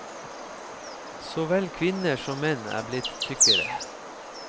Så vel kvinner som menn er blitt tykkere.